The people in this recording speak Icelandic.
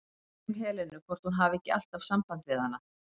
Ég spyr um Helenu, hvort hún hafi ekki alltaf samband við hana?